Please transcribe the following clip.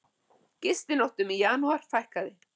Gistinóttum í janúar fækkaði